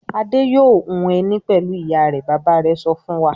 "Adé yóò hun ẹní pẹ̀lú ìyá rẹ̀!" Bàbá rẹ̀ sọ fún wa.